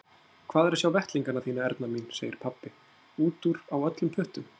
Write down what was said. Hvað er að sjá vettlingana þína Erna mín, segir pabbi, út úr á öllum puttum.